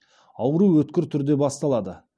ауру өткір түрде басталады